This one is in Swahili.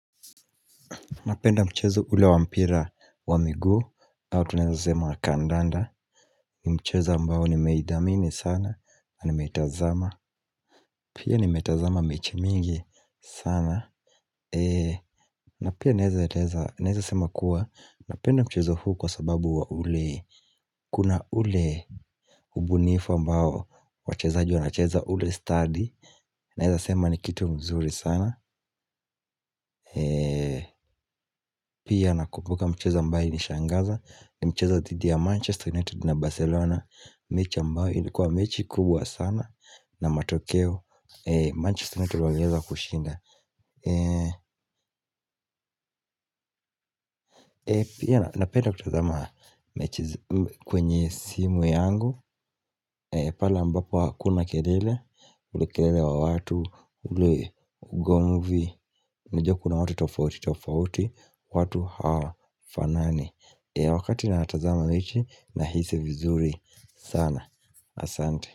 Napenda mchezo ule wa mpira wa miguu, hau tunaeza sema wa kandanda, ni mchezo ambao nimeidhamini sana, na nimetazama, pia nimetazama mechi mingi sana, na pia naeza eleza naeza sema kuwa, napenda mchezo huu kwa sababu wa ule, kuna ule hubunifu ambao, wachezaji wanacheza ule stadi, naeza sema ni kitu mzuri sana, pia nakumbuka mchezo ambayo ilishangaza, ni mchezo dhidi ya Manchester United na Barcelona mechi ambayo ilikuwa mechi kubwa sana. Na matokeo Manchester United walieza kushinda. Napenda kutazama mechi kwenye simu yangu. Pale ambapo hakuna kelele ule kerele wa watu ule ugomvi unajua kuna watu tofauti tofauti. Watu hawafanani. Wakati natazama mechi nahisi vizuri sana asante.